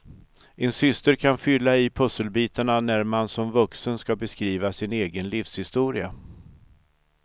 En syster kan fylla i pusselbitarna när man som vuxen ska beskriva sin egen livshistoria.